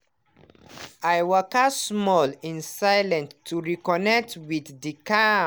i waka small in silent to reconnect with the calm